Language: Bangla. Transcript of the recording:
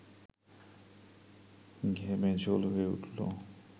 ঘেমে ঝোল হয়ে উঠল